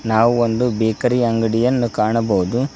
ನಾವು ಒಂದು ಬೇಕರಿ ಅಂಗಡಿಯನ್ನು ಕಾಣಬಹುದು.